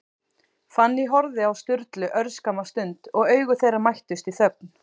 Fanný horfði á Sturlu örskamma stund, og augu þeirra mættust í þögn.